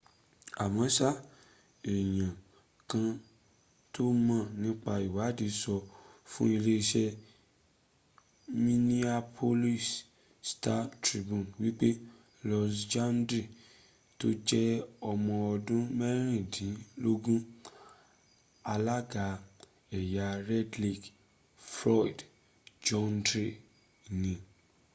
àmọ́sá èèyàn kan tó mọ̀ nípa ìwaàdí sọ fún iléeṣẹ́ minneapolis star-tribune wípé louis jourdain tó jẹ́ ọmọọdún mẹ́rìndínlógún alága ẹ̀yà red lake floyd jourdain ni